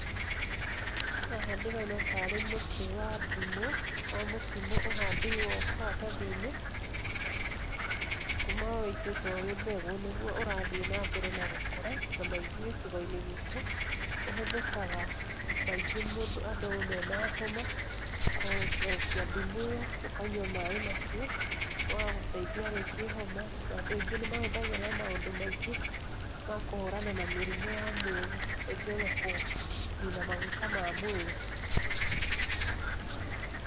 Haha ndĩrona tarĩ mũtĩ wa ndimũ, mũtimũ ũhandĩirwo karatathi-inĩ, kuma wũitĩtwo wĩ mbegũ nĩguo ũrathiĩ na mbere na gũkũra na maingĩ gĩcigo-inĩ gitũ ũhũthĩkaga maingĩ andũ mena homa gũtherũkia ndimũ ĩyo ũkanyua maĩ macio magagũteithia rĩngĩ homa, na andũ angĩ nĩ mahũthagĩra na maũndũ maingĩ makũhũrana na mĩrimũ ya mwĩrĩ ningĩ ona kũnina maguta ma mwĩrĩ.